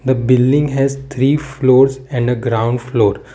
the building has three floors and a ground floor.